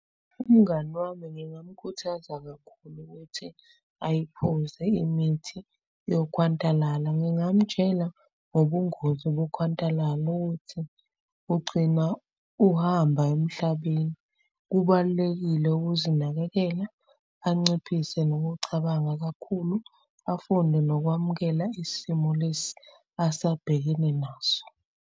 Umngani wami ngingamukhuthaza ukuthi ayiphuze imithi yokhwantalala. Ngingamtshela ngobungozi bokhwantalala ukuthi ugcina uhamba emhlabeni. Kubalulekile ukuzinakekela, anciphise nokucabanga kakhulu, afunde nokwamukela isimo lesi asabhekene naso.